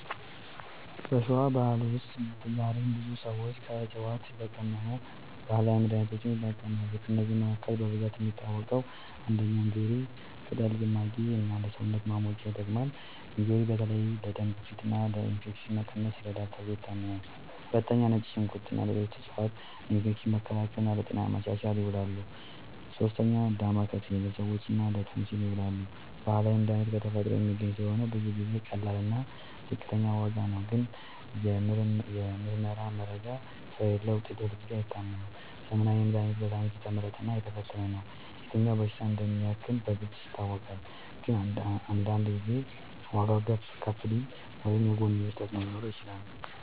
በሸዋ ባህል ውስጥ ዛሬም ብዙ ሰዎች ከዕፅዋት የተቀመሙ ባህላዊ መድሃኒቶችን ይጠቀማሉ። ከእነዚህ መካከል በብዛት የሚታወቁት፦ ፩. እንጆሪ ቅጠል ጭማቂ እና ለሰውነት ማሞቂያ ይጠቅማል። እንጆሪ በተለይ ለደም ግፊት እና ለኢንፌክሽን መቀነስ ይረዳል ተብሎ ይታመናል። ፪. ነጭ ሽንኩርት እና ሌሎች ዕፅዋት ለኢንፌክሽን መከላከል እና ለጤና ማሻሻል ይውላሉ። ፫. ዳማከሴ ለምች እና ለቶንሲል ይዉላል። ባህላዊ መድሃኒት ከተፈጥሮ የሚገኝ ስለሆነ ብዙ ጊዜ ቀላል እና ዝቅተኛ ዋጋ ነው። ግን የምርመራ መረጃ ስለሌለዉ ውጤቱ ሁልጊዜ አይታመንም። ዘመናዊ መድሃኒት በሳይንስ የተመረጠ እና የተፈተነ ነው። የትኛው በሽታ እንደሚያክም በግልጽ ይታወቃል። ግን አንዳንድ ጊዜ ዋጋዉ ከፍ ሊል ወይም የጎንዮሽ ተፅዕኖ ሊኖረው ይችላል።